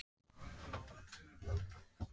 Magnús: Hvernig stóð pabbi sig í fæðingarhjálpinni?